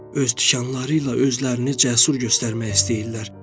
Öz tikanları ilə özlərini cəsur göstərmək istəyirlər.